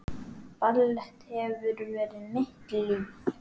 Ballett hefur verið mitt líf